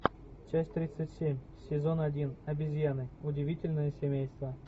часть тридцать семь сезон один обезьяны удивительное семейство